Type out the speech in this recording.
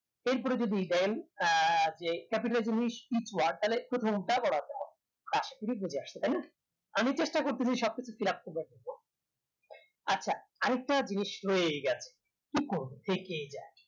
এর পরে যদি দেন আহ যে capital জিনিস each word তাহলে প্রথমটা বোরো হাতের আমি চেষ্টা করতেছি সব কিছু করবো আচ্ছা আর একটা জিনিস এই খানে করবো থেকেই যাই